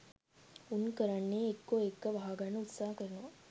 උන් කරන්නේ එක්කෝ ඒක වහ ගන්න උත්සාහ කරනවා